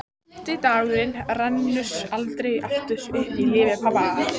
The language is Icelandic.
Fimmti dagurinn rennur aldrei aftur upp í lífi pabba.